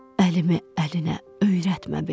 Əlimi əlinə öyrətmə belə.